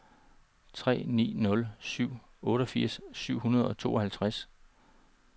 tre ni nul syv otteogfirs syv hundrede og tooghalvtreds